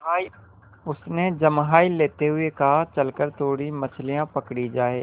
उसने जम्हाई लेते हुए कहा चल कर थोड़ी मछलियाँ पकड़ी जाएँ